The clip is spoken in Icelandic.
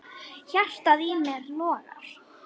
Hjartað í mér logar.